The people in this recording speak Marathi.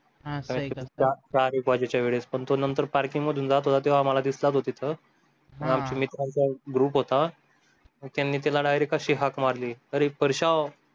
हा का सर चार एक वाजेच्या वेळेस पण तो नंतर parking मधून जात होता तेव्हा आम्हाला दिसला तो तिथं actually मित्रांचा group होता त्यांनी त्याला direct अशी हाक मारली अरे परश्या